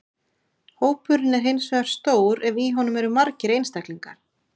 Hópurinn er hins vegar stór ef í honum eru margir einstaklingar.